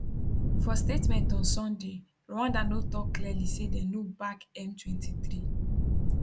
for statement on sunday rwanda no tok clearly say dem no back m23